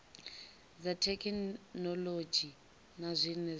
dza thekhinolodzhi na zwine dza